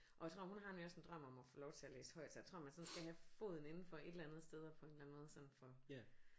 Og jeg tror hun har nemlig også en drøm om at få lov til at læse højt så jeg tror man sådan skal have foden indenfor et eller andet sted og få en eller anden måde få